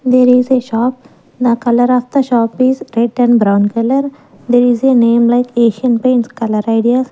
there is a shop the colour of the shop is red and brown colour there is a name like asian paints colour ideas.